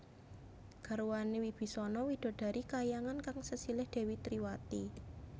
Garwané Wibisana widodari kahyangan kang sesilih Dèwi Triwati